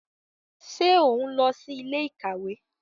Ṣe o nlọ si ilé-íkàwe?